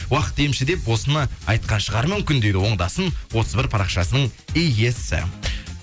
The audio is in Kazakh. уақыт емші деп осыны айтқан шығар мүмкін дейді оңдасын отыз бір парақшасының иесі